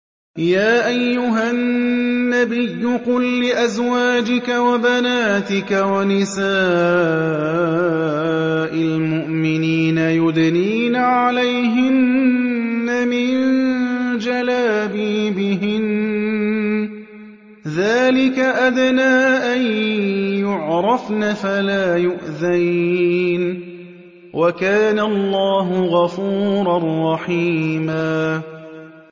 يَا أَيُّهَا النَّبِيُّ قُل لِّأَزْوَاجِكَ وَبَنَاتِكَ وَنِسَاءِ الْمُؤْمِنِينَ يُدْنِينَ عَلَيْهِنَّ مِن جَلَابِيبِهِنَّ ۚ ذَٰلِكَ أَدْنَىٰ أَن يُعْرَفْنَ فَلَا يُؤْذَيْنَ ۗ وَكَانَ اللَّهُ غَفُورًا رَّحِيمًا